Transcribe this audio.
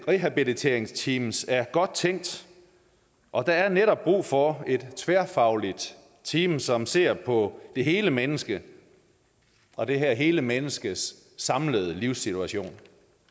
rehabiliteringsteams er godt tænkt og der er netop brug for et tværfagligt team som ser på det hele menneske og det hele menneskes samlede livssituation